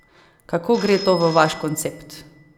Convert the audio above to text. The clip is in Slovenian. Kako gre to v vaš koncept?